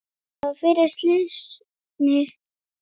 Það var fyrir slysni.